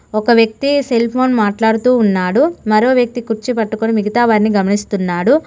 ఒక వ్యక్తి cell phone మాట్లాడుతూ ఉన్నాడు మరో వ్యక్తి కుర్చీ పట్టుకొని మిగతా వారిని గమనిస్తున్నాడు.